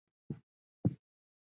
Síðustu ár voru Benna erfið.